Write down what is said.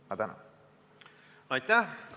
Aitäh!